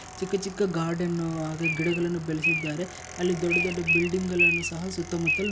ಚಿಕ್ಕ ಚಿಕ್ಕ ಗಾರ್ಡನ್ನು ಉಹ್ ಹಾಗೆ ಗಿಡಗಳನ್ನು ಬೆಳೆಸಿದ್ದಾರೆ ಅಲ್ಲಿ ದೊಡ್ಡ ದೊಡ್ಡ ಬಿಲ್ಡಿಂಗ್ ಗಳನ್ನೂ ಸಹ ಸುತ್ತಮುತ್ತಲು --